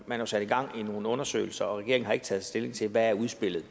man sat gang i nogle undersøgelser og regeringen har ikke taget stilling til hvad udspillet